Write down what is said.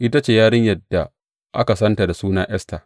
Ita ce yarinyar da aka santa da suna Esta.